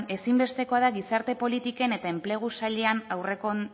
ezinbestekoa da gizarte politiken eta enplegu sailean